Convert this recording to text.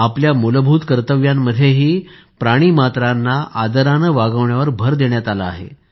आपल्या मूलभूत कर्तव्यांमध्येही प्राणीमात्रांना आदराने वागवण्यावर भर देण्यात आला आहे